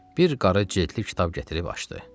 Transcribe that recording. Bir qarı cildli kitab gətirib açdı.